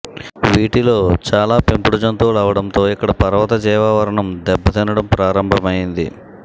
వీటిలో చాలా పెంపుడు జంతువులు అవడంతో ఇక్కడ పర్వత జీవావరణం దెబ్బతినడం ప్రారంభమైంది